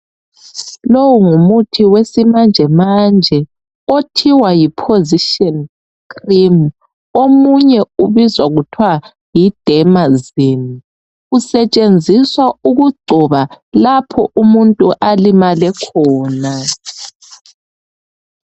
Lowu ngumuthi yesimanjemanje othiwa yi Position cream omunye ubizwa kuthwa yi Dermazine usetshenziswa ukugcoba lapho umuntu alimale khona .